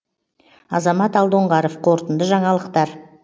азамат алдоңғаров қорытынды жаңалықтар